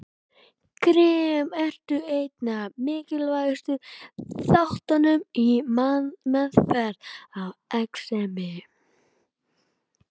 Krem eru einn af mikilvægustu þáttunum í meðferð á exemi.